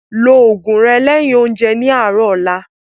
Ló oògùn rẹ lẹ́yin oúnjẹ ní àárọ̀ ọ̀la